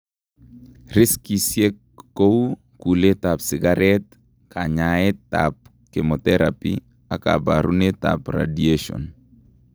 Riskisiek kouu kuleet ab sikareet kanyaet ab chemoterapy ak kabarunet ab radiation